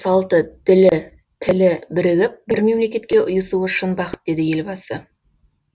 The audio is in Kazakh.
салты тілі ділі бірігіп бір мемлекетке ұйысуы шын бақыт деді елбасы